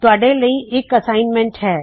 ਤੁਹਾੱਡੇ ਲਈ ਇਕ ਨਿਯਤ ਕਾਰਜ ਹੈ